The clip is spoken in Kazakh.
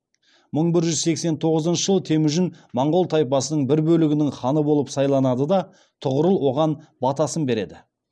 мың бір жүз сексен тоғызыншы жылы темүжін монғол тайпасының бір бөлігінің ханы болып сайланады да тұғырыл оған батасын береді